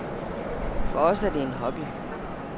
For os er det en hobby.